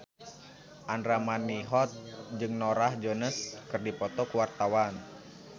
Andra Manihot jeung Norah Jones keur dipoto ku wartawan